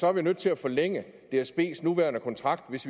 er nødt til at forlænge dsbs nuværende kontrakt hvis